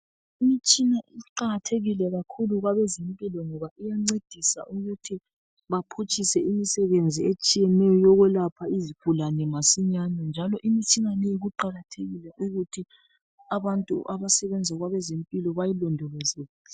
Imitshina iqakathekile kakhulu kwabezempilo ngoba iyancedisa ukuthi baphutshise imisebenzi etshiyeneyo yokwelapha izigulane masinyane njalo imitshina leyi kuqakathekile ukuthi abantu abasebenza kwabezempilo bayilondoloze.